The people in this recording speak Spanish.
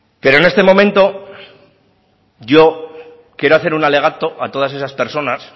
pero en este momento yo quiero hacer un alegato a todas esas personas